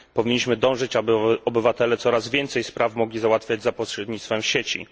Powinniśmy dążyć, aby obywatele coraz więcej spraw mogli załatwiać za pośrednictwem sieci.